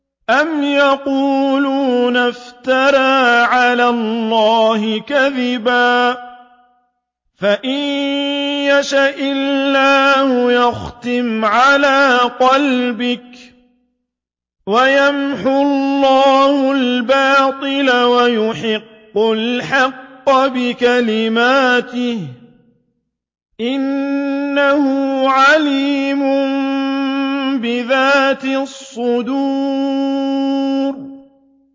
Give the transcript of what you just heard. أَمْ يَقُولُونَ افْتَرَىٰ عَلَى اللَّهِ كَذِبًا ۖ فَإِن يَشَإِ اللَّهُ يَخْتِمْ عَلَىٰ قَلْبِكَ ۗ وَيَمْحُ اللَّهُ الْبَاطِلَ وَيُحِقُّ الْحَقَّ بِكَلِمَاتِهِ ۚ إِنَّهُ عَلِيمٌ بِذَاتِ الصُّدُورِ